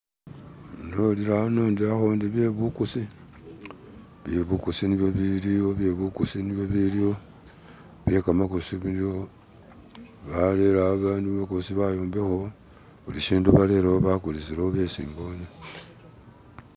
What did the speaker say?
Nolele ano indi akuntu we byebuguzi, bye buguzi niyo ibiliwo byebuguzi niyo ibiliwo byegamaguzi biliwo, nabone abantu kulukosi bayombekako bulishintu baletawo bagulisilawo byesi mbone.